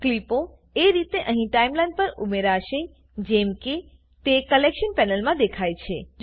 ક્લીપો એ રીતે અહીં ટાઈમલાઈન પર ઉમેરાશે જેમ તે કલેક્શન પેનલમાં દેખાય છે